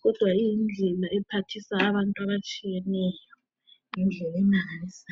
,kodwa iyindlela ephathisa abantu atshiyeneyo ngendlela emangalisayo.